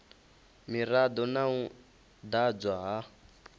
mirado na u ḓadzwa ha